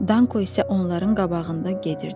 Danko isə onların qabağında gedirdi.